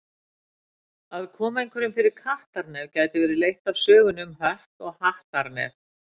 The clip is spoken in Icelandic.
Að koma einhverjum fyrir kattarnef gæti verið leitt af sögunni um Hött og Hattar nef.